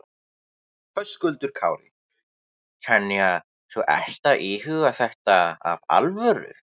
Höskuldur Kári: Þannig að þú ert að íhuga þetta af alvöru?